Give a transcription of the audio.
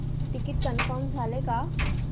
ticket confirm झाले का